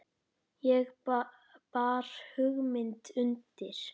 Ég bar hugmynd undir